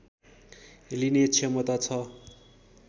लिने क्षमता छ